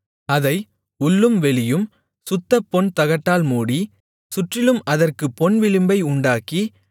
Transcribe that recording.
அதை உள்ளும் வெளியும் சுத்தப்பொன் தகட்டால் மூடி சுற்றிலும் அதற்குப் பொன் விளிம்பை உண்டாக்கி